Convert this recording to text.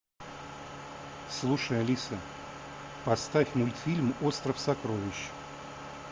слушай алиса поставь мультфильм остров сокровищ